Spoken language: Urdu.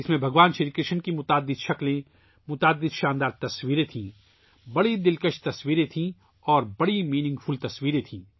اس میں بھگوان شری کرشن کے مختلف روپوں کو دکھایا گیا تھا ،بہت خوبصورت تصویریں تھی اور بڑی میننگ فُل تصویریں تھیں